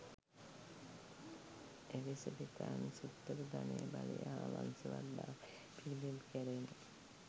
එලිසබෙතානු සිත්තරු ධනය බලය හා වංශවත්භාවය පිලිබිඹු කෙරෙන